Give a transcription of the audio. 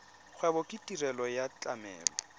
kgwebo ke tirelo ya tlamelo